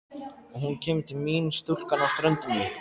Og hún kemur til mín stúlkan á ströndinni.